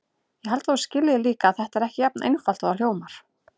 Ég held að þú skiljir líka að þetta er ekki jafn einfalt og það hljómar.